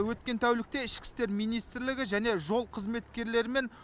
өткен тәулікте ішкі істер министрлігі және жол қызметкерлерімен